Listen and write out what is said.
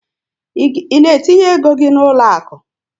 I na etinye égo gị n'uloaku?